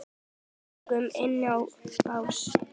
Við göngum inn á bás